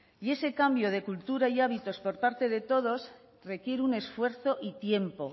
y ese cambio de cultura y hábitos por parte de todos requiere un esfuerzo y tiempo